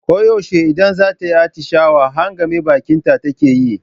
Ko yaushe idan zata yi atishawa, hangame bakinta take yi.